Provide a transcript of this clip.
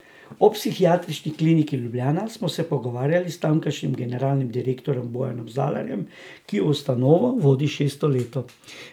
O Psihiatrični kliniki Ljubljana smo se pogovarjali s tamkajšnjim generalnim direktorjem Bojanom Zalarjem, ki ustanovo vodi šesto leto.